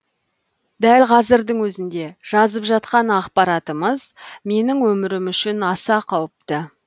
дәл қазірдің өзінде жазып жатқан ақпаратымыз менің өмірім үшін аса қауіпті